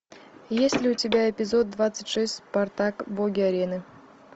есть ли у тебя эпизод двадцать шесть спартак боги арены